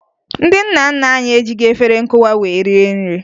Ndị nna nna anyị ejighi efere nkụwa wee rie nri